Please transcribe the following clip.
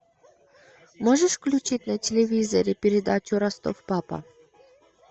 можешь включить на телевизоре передачу ростов папа